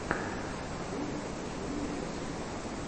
открой джули рэш